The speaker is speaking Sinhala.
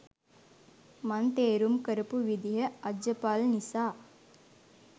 මං තේරුම් කරපු විදිහ අජපල් නිසා